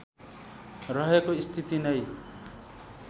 रहेको स्थिति नै